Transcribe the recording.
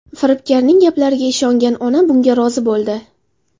Firibgarning gaplariga ishongan ona bunga rozi bo‘ldi.